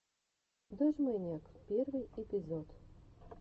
дожмэниак первый эпизод